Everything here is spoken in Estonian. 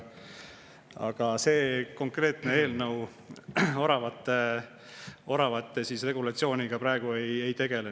Aga see konkreetne eelnõu oravate regulatsiooniga praegu ei tegele.